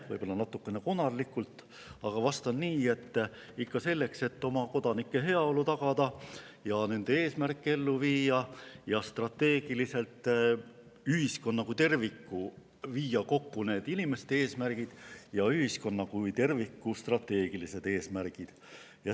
Võib-olla natukene konarlikult, aga vastan nii: ikka selleks, et oma kodanike heaolu tagada ja nende eesmärke ellu viia ning kokku inimeste eesmärgid ja ühiskonna kui terviku strateegilised eesmärgid.